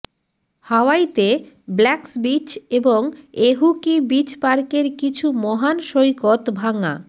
হাওয়াইতে Blacks beach এবং Ehukai beach পার্কের কিছু মহান সৈকত ভাঙা